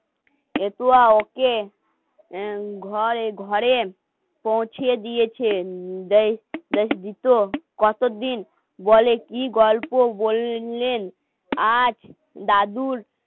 বেতুয়াও কে? ঘরে ঘরে পৌঁছে দিয়েছেন কতদিন বলে কি গল্প বললেন আজ দাদুর